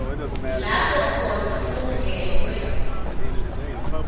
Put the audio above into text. lapho khona kungenwe